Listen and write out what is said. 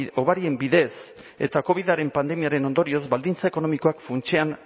hobarien bidez eta covidaren pandemiaren ondorioz baldintza ekonomikoak funtsean